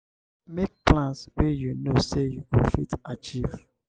make plans wey you know sey you go fit achieve